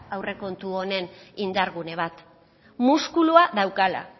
aurrekontu honen indargune bat muskulua daukala